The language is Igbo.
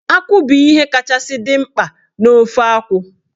Akwụ bụ ihe kachasị dị mkpa n'ofe akwụ.